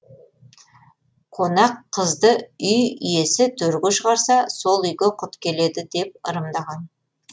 қонақ қызды үй иесі төрге шығарса сол үйге құт келеді деп ырымдаған